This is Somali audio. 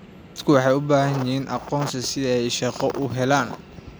Dadku waxay u baahan yihiin aqoonsi si ay shaqo u helaan.